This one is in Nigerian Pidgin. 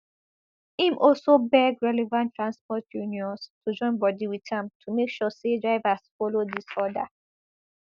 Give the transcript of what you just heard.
im also beg relevant transport unions to join body wit am to make sure say drivers follow dis order